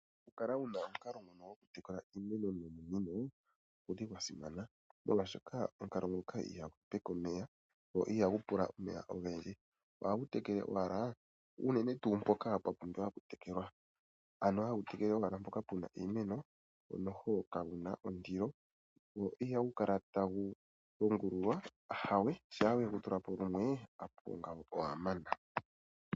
Okukala wu na omukalo ngoka gokutekela iimeno nominino ogu li gwa simana, molwashoka omukalo ngoka ihagu hepeke omeya, go ihagu pula omeya ogendji. Ohagu tekele owala mpoka unene pwa pumbwa okutekelwa. Ano hagu tekele owala mpoka pu na iimeno, go kagu na ondilo. Go ihagu kala tagu longululwa, ahawe, shampa we gu tula po lumwe opuwo ngaaka owa mana.